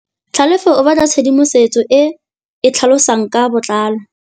Tlhalefô o batla tshedimosetsô e e tlhalosang ka botlalô.